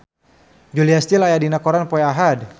Julia Stiles aya dina koran poe Ahad